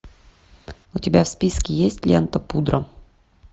у тебя в списке есть лента пудра